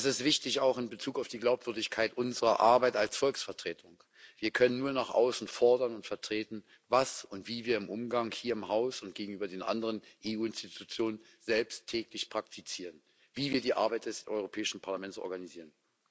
Das ist wichtig, auch in Bezug auf die Glaubwürdigkeit unserer Arbeit als Volksvertretung. Wir können nur nach außen fordern und vertreten, was und wie wir im Umgang hier im Haus und gegenüber den anderen EU Institutionen selbst täglich praktizieren, wie wir die Arbeit des Europäischen Parlaments organisieren.